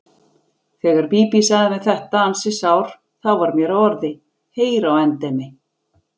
Þegar Bíbí sagði mér þetta ansi sár þá varð mér að orði: Heyr á endemi!